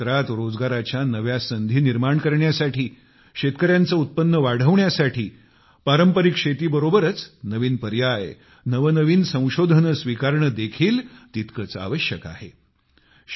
कृषी क्षेत्रात रोजगाराच्या नव्या संधी निर्माण करण्यासाठी शेतकऱ्यांचे उत्पन्न वाढवण्यासाठी पारंपरिक शेतीबरोबरच नवीन पर्याय नवनवीन संशोधने स्वीकारणे देखील तितकेच आवश्यक आहे